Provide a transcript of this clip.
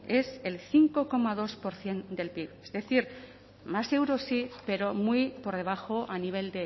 es el cinco coma dos por ciento del pib es decir más euros sí pero muy por debajo a nivel